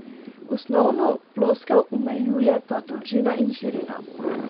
Osnovno ploskev omejujeta dolžina in širina.